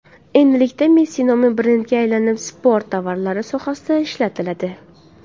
Endilikda Messi nomi brendga aylanib, sport tovarlari sohasida ishlatiladi.